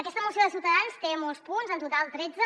aquesta moció de ciutadans té molts punts en total tretze